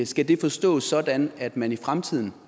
skal det forstås sådan at man i fremtiden